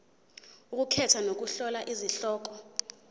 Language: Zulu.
ukukhetha nokuhlola izihloko